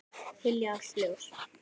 Hylja allt ljós.